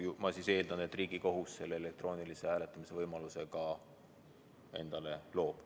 Ma siis eeldan, et Riigikohus selle elektroonilise hääletamise võimaluse endale ka loob.